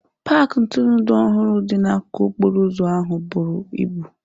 paaki ntụrụndụ ọhụrụ dị n'akụkụ okporo ụzọ ahụ buru ibu.